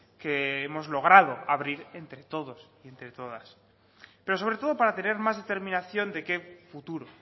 que hemos logrado abrir entre todos y entre todas pero sobre todo para tener más determinación de qué futuro